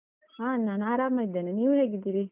ಹ ನಾನು ಆರಾಮ ಇದ್ದೇನೆ, ನೀವು ಹೇಗಿದ್ದೀರಿ?